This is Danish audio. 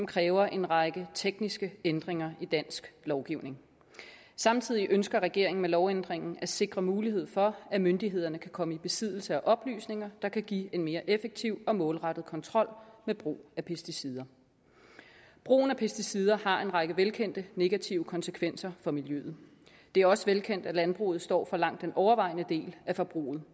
kræver en række tekniske ændringer i dansk lovgivning samtidig ønsker regeringen med lovændringen at sikre mulighed for at myndighederne kan komme i besiddelse af oplysninger der kan give en mere effektiv og målrettet kontrol med brug af pesticider brugen af pesticider har en række velkendte negative konsekvenser for miljøet det er også velkendt at landbruget står for langt den overvejende del af forbruget